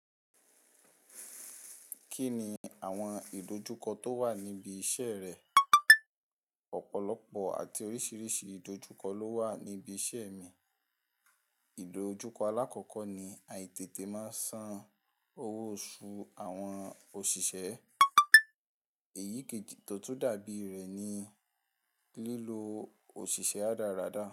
Kí ni àwọn ìdojúkọ tó wà níbi iṣẹ́ rẹ? Ọ̀pọ̀lọpọ̀ àti oríṣiríṣi ìdojúkọ ló wà níbi iṣẹ́ mi. Ìdojúkọ alákọ̀ọ́kọ́ ni àìtètè máa ń san owó oṣù àwọn òṣìṣẹ́. Èyí kì í tótú dàbí rẹ̀ ní lílo òṣìṣẹ́ radáradá.